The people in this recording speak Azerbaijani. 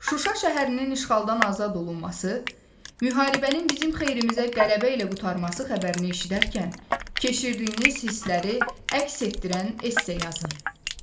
Şuşa şəhərinin işğaldan azad olunması, müharibənin bizim xeyrimizə qələbə ilə qurtarması xəbərini eşidərkən keçirdiyiniz hissləri əks etdirən esse yazın.